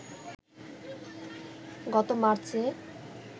গত মার্চে